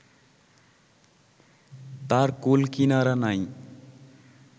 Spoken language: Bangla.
তার কূল-কিনারা নাই